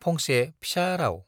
फंसे फिसा राउ